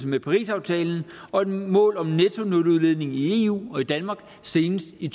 med parisaftalen og et mål om nettonuludledning i eu og i danmark senest i